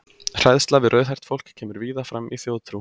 Hræðsla við rauðhært fólk kemur víða fram í þjóðtrú.